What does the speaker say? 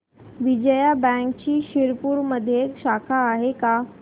विजया बँकची शिरपूरमध्ये शाखा आहे का